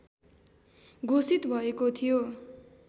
घोषित भएको थियो